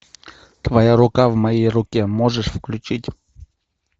твоя рука в моей руке можешь включить